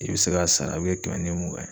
I bi se k'a sara u be kɛmɛ ni mugan ye.